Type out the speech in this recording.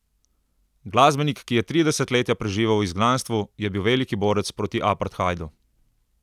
Glasbenik, ki je tri desetletja preživel v izgnanstvu, je bil veliki borec proti apartheidu.